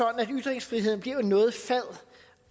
at ytringsfriheden bliver noget fad